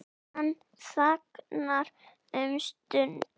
Hann þagnar um stund.